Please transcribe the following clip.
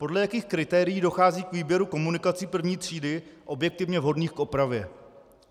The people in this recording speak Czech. Podle jakých kritérií dochází k výběru komunikací prvních tříd objektivně vhodných k opravě?